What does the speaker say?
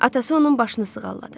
Atası onun başını sığalladı.